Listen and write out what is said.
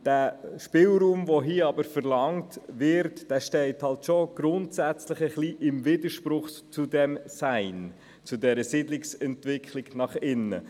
Aber der Spielraum, der hier verlangt wird, steht grundsätzlich im Widerspruch zur Siedlungsentwicklung nach innen.